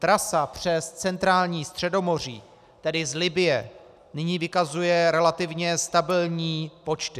Trasa přes centrální Středomoří, tedy z Libye, nyní vykazuje relativně stabilní počty.